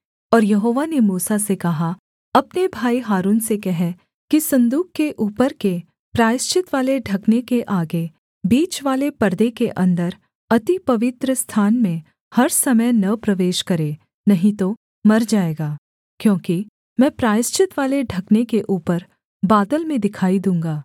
और यहोवा ने मूसा से कहा अपने भाई हारून से कह कि सन्दूक के ऊपर के प्रायश्चितवाले ढकने के आगे बीचवाले पर्दे के अन्दर अति पवित्रस्थान में हर समय न प्रवेश करे नहीं तो मर जाएगा क्योंकि मैं प्रायश्चितवाले ढकने के ऊपर बादल में दिखाई दूँगा